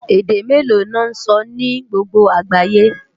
Èdè méló lò nsò ni gbógbó ágáyé?